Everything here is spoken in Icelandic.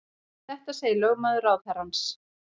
Þetta segir lögmaður ráðherrans